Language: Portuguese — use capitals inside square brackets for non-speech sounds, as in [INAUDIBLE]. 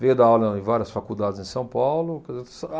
Veio dar aula em várias faculdades em São Paulo. [UNINTELLIGIBLE]